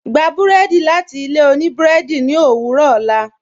Gbà bùrẹ́dì láti ilẹ̀ ọ̀nì bùrẹ́dì ni owurọ̀ ọlá